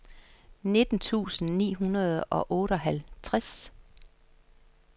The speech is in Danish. nitten tusind ni hundrede og otteoghalvtreds